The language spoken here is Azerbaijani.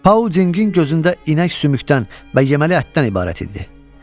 Pauldingin gözündə inək sümükdən və yeməli ətdən ibarət idi.